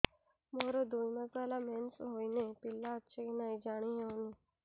ମୋର ଦୁଇ ମାସ ହେଲା ମେନ୍ସେସ ହୋଇ ନାହିଁ ପିଲା ଅଛି କି ନାହିଁ ଜାଣି ହେଉନି